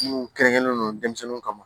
Minnu kɛrɛnkɛrɛnnen don denmisɛnninw kama